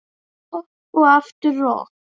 Rokk og aftur rokk.